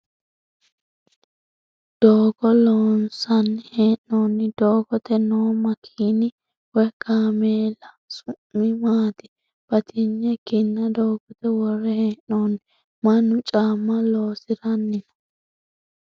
Doogo loonsanni hee'noonni? Doogote noo makkiinna woyi kaameella su'mi maati ? Batinye kinna doogote worre hee'noonni. Mannu caamma loosiranni no.